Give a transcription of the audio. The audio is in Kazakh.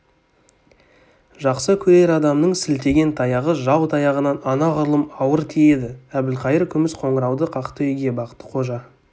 жақсы көрер адамның сілтеген таяғы жау таяғынан анағұрлым ауыр тиеді әбілқайыр күміс қоңырауды қақты үйге бақты-қожа